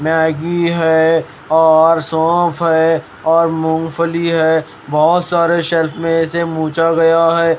Maggi है और सौंफ है और मूंगफली है बहुत सारे शेल्फ में इसे मूछा गया है।